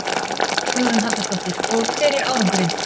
Hugrún Halldórsdóttir: Og hver er árangurinn?